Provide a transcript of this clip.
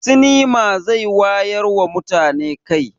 Sinima zai wayarwa da mutane kai.